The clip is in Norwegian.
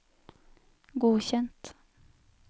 godkjent